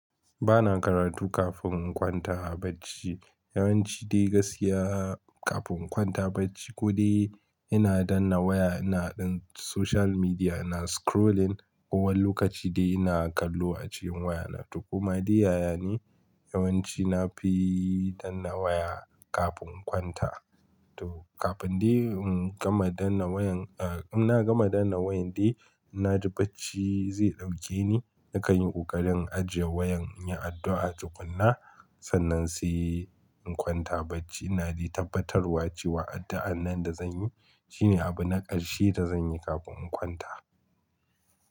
Ba na karatu kafin in kwanta a bacci. Yawanci de gaskiya kafin in kwanta bacci ko de-ina danna waya, ina ɗan social media, ina scrolling kowani lokaci dai ina kallo a cikin wayana. To koma dai yaya ne yawanci na fi danna waya kafin in kwanta. To kafin dai in gama danna wayan, ah in na gama danna wayan dai, na ji bacci zai ɗauke ni. Na kai yin ƙoƙarin ajiye wayan, in yi addu'a, tukuna sannan sai in kwanta bacci. Ina d'tabbatarwa wa cewa addu'an nan da zan yi shine abu na ƙarshe da zan yi kafin in kwanta.